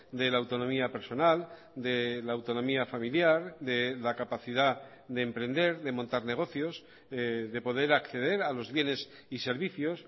de la autonomía personal de la autonomía familiar de la capacidad de emprender de montar negocios de poder acceder a los bienes y servicios